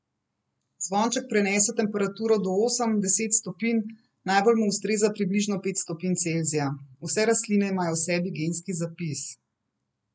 Zvonček prenese temperature do osem, deset stopinj, najbolj mu ustreza približno pet stopinj Celzija: "Vse rastline imajo v sebi genski zapis.